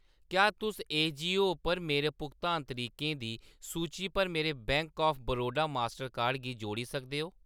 क्या तुस एजीओ उप्पर मेरे भुगतान तरीकें दी सूची च मेरे bank of Baroda mastercard गी जोड़ी सकदे ओ ?